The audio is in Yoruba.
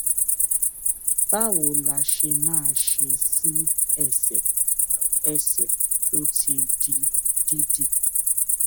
báwo la ṣe lè máa ṣe sí ẹsè ẹsè tó ti di dídì